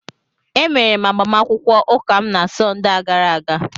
Emere m agbamakwụkwọ ụka m na Sọnde a gara aga